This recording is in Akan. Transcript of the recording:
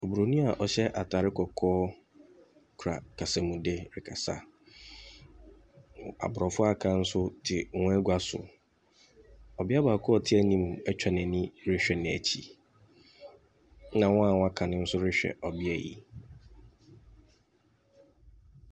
Obronin a ɔhyɛ atadeɛ kɔkɔɔ kura kasamude rekasa. Aborɔfo a wɔaka nso te wɔn agua so. Ɔbea baako a ɔte anim atwa n'ani rehwɛ n'akyi, ɛna wɔn a wɔaka nso rehwɛ ɔbea yi.